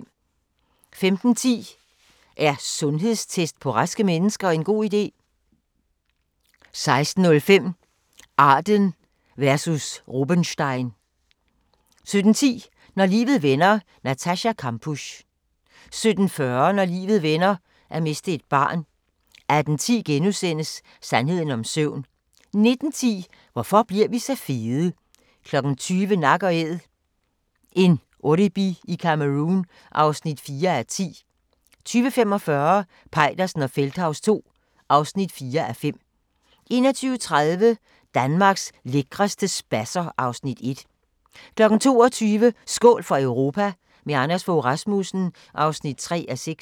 15:10: Er sundhedstest på raske mennesker en god idé? 16:05: Arden versus Rubenstein 17:10: Når livet vender: Natascha Kampusch 17:40: Når livet vender: At miste et barn 18:10: Sandheden om søvn * 19:10: Hvorfor bliver vi så fede? 20:00: Nak & Æd – en oribi i Cameroun (4:10) 20:45: Peitersen og Feldthaus II (4:5) 21:30: Danmarks lækreste spasser (Afs. 1) 22:00: Skål for Europa – med Anders Fogh Rasmussen (3:6)